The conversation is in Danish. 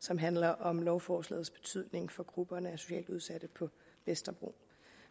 som handler om lovforslagets betydning for grupperne af socialt udsatte på vesterbro